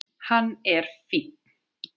Hann er fínn.